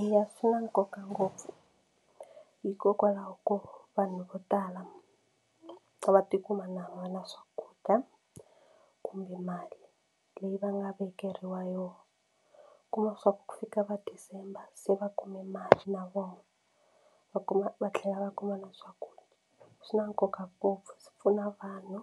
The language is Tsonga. Eya swi na nkoka ngopfu hikokwalaho ko vanhu vo tala va tikuma na va na swakudya kumbe mali leyi va nga vekeriwa yona kuma swa ku fika va December se va kume mali na vona va kuma va tlhela va kuma na swakudya swi na nkoka ngopfu swi pfuna vanhu